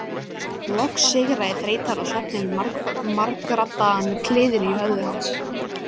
Loks sigraði þreytan og svefninn margraddaðan kliðinn í höfði hans.